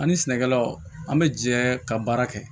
Ani sɛnɛkɛlaw an bɛ jɛ ka baara kɛ